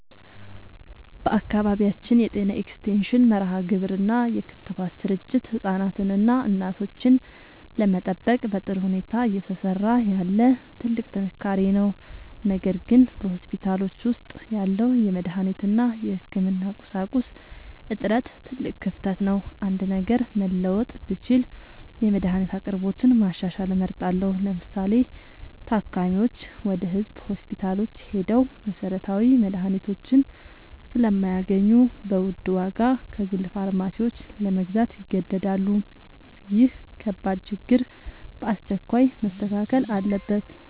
በአካባቢያችን የጤና ኤክስቴንሽን መርሃግብር እና የክትባት ስርጭት ህፃናትንና እናቶችን ለመጠበቅ በጥሩ ሁኔታ እየሰራ ያለ ትልቅ ጥንካሬ ነው። ነገር ግን በሆስፒታሎች ውስጥ ያለው የመድኃኒት እና የህክምና ቁሳቁስ እጥረት ትልቅ ክፍተት ነው። አንድ ነገር መለወጥ ብችል የመድኃኒት አቅርቦትን ማሻሻል እመርጣለሁ። ለምሳሌ፤ ታካሚዎች ወደ ህዝብ ሆስፒታሎች ሄደው መሰረታዊ መድኃኒቶችን ስለማያገኙ በውድ ዋጋ ከግል ፋርማሲዎች ለመግዛት ይገደዳሉ። ይህ ከባድ ችግር በአስቸኳይ መስተካከል አለበት።